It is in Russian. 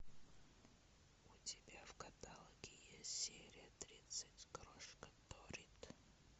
у тебя в каталоге есть серия тридцать крошка доррит